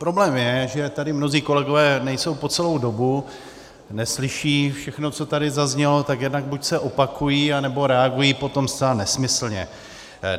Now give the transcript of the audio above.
Problém je, že tady mnozí kolegové nejsou po celou dobu, neslyší všechno, co tady zaznělo, tak jednak buď se opakují, anebo reagují potom zcela nesmyslně.